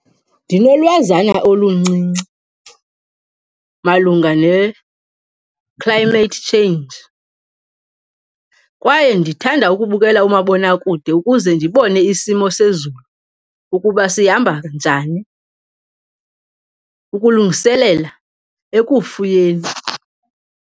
Ndinolwazana oluncinci malunga ne-climate change kwaye ndithanda ukubukela umabonakude ukuze ndibone isimo sezulu ukuba sihamba njani ukulungiselela ekufuyeni.